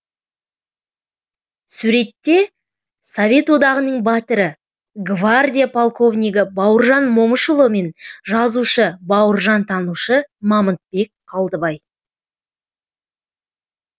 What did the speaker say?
суретте совет одағының батыры гвардия полковнигі бауыржан момышұлы мен жазушы бауыржантанушы мамытбек қалдыбай